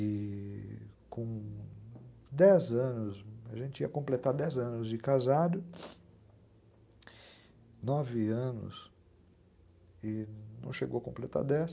E... com dez anos, a gente ia completar dez anos de casado, nove anos e não chegou a completar dez